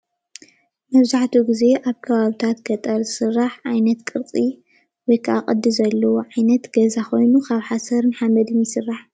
መብዛህትኡ ግዜ አብ ከባቢታት ገጠር ዝስራሕ ዓይነት ቅርፂ ወይካዓ ቅዲ ዘለዎ ዓይነት ገዛ ኮይኑ ሓሰርን ሓመድን ይስራሕ፡፡